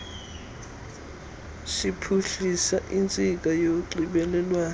siphuhlisa intsika yonxibelelwano